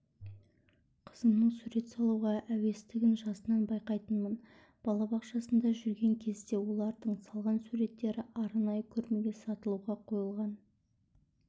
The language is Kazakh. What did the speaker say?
қызымның сурет салуға әуестігін жасынан байқайтынмын балабақшасында жүрген кезде олардың салған суреттері арнайы көрмеге сатылуға қойылған